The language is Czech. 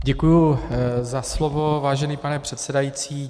Děkuji za slovo, vážený pane předsedající.